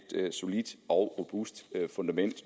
solidt og robust fundament